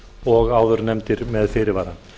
og áðurnefndir með fyrirvara